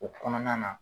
O kɔnɔna na